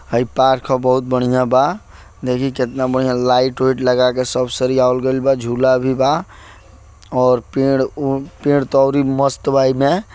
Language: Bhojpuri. हई पार्क ह बहुत बढ़िया बा देखी केतना बढ़िया लाइट - वाइट लगा के सब सरियावल गैल बा झूला भी बा जुला भी बा और पेड़ त औरी मस्त बा ओई में।